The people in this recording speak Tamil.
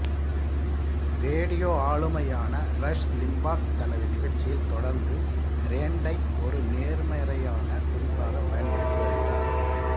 ரேடியோ ஆளுமையான ரஷ் லிம்பாக் தனது நிகழ்ச்சியில் தொடர்ந்து ரேண்டை ஒரு நேர்மறையான குறிப்பாக பயன்படுத்தி வருகிறார்